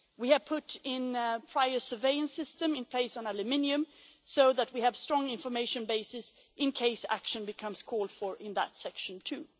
We have put in a prior surveillance system in place on aluminium so that we have a strong information basis in case action becomes called for in that section too.